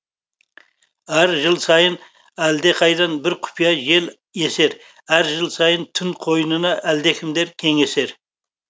әр жыл сайын әлдеқайдан бір құпия жел есер әр жыл сайын түн қойнында әлдекімдер кеңесер